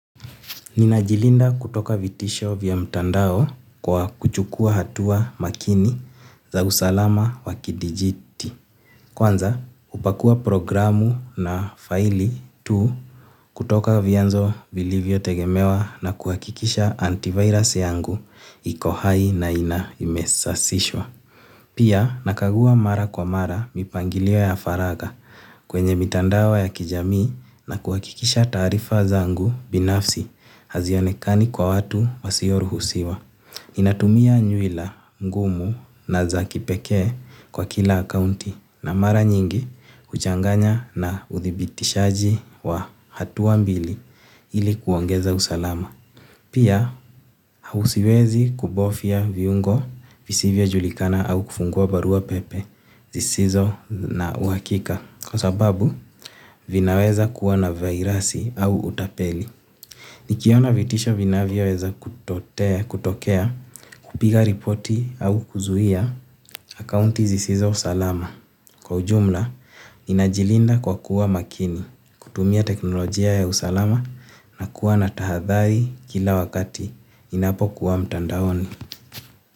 Nina jilinda kutoka vitisho vya mtandao kwa kuchukua hatua makini za usalama wa kidijiti. Kwanza upakua programu na faili tu kutoka vyanzo vilivyo tegemewa na kuwakikisha antivirus yangu iko hai na ina imesasishwa. Pia nakaguwa mara kwa mara mipangilio ya faraga kwenye mitandao ya kijamii na kuakikisha taarifa zangu binafsi hazionekani kwa watu wasio ruhusiwa. Natumia nyuila ngumu na za kipekee kwa kila akounti na mara nyingi uchanganya na uthibitishaji wa hatua mbili ili kuongeza usalama. Pia, hausiwezi kubofia viungo visivyo julikana au kufungua barua pepe zisizo na uwakika kwa sababu vinaweza kuwa na virusi au utapeli. Nikiona vitisha vinavya weza kutokea, hupiga ripoti au kuzuhia akounti zisizo salama. Kwa ujumla, ninajilinda kwa kuwa makini, kutumia teknolojia ya usalama na kuwa na tahadhari kila wakati ninapo kuwa mtandaoni.